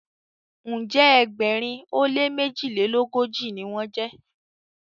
njé Egbèrin o lẹ mejilelogoji ní wón jé.